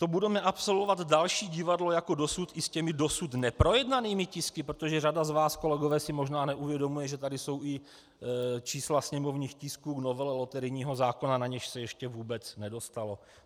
To budeme absolvovat další divadlo jako dosud i s těmi dosud neprojednanými tisky, protože řada z vás, kolegové, si možná neuvědomuje, že tady jsou i čísla sněmovních tisků k novele loterijního zákona, na něž se ještě vůbec nedostalo.